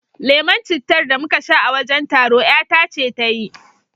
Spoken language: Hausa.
Lemon cittar da muka sha a wajen taro ƴata ce ta yi